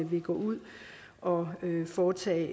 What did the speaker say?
vil gå ud og foretage